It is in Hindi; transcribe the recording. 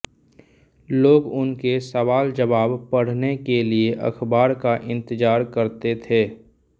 लोग उनके सवालजवाब पढ़ने के लिये अखबार का इंतजार करते थे